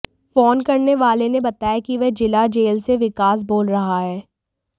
phone करने वाले ने बताया कि वह जिला जेल से विकास बोल रहा है